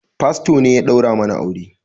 Fasto ne ya daura mana aure